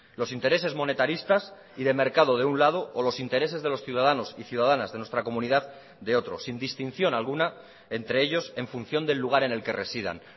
los intereses monetaristas y de mercado de un lado o los intereses de los ciudadanos y ciudadanas de nuestra comunidad de otros sin distinción alguna entre ellos en función del lugar en el que residan